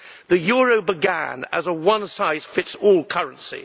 The euro began as a one size fits all currency.